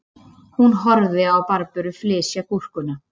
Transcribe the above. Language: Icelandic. Hún horfði á Barböru flysja gúrkuna